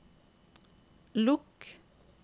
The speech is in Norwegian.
lukk